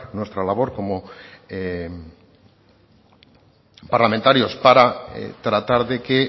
nuestra labor como parlamentarios para tratar de que